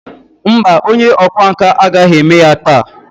Mba, onye ọkwá nkà agaghị eme ya taa.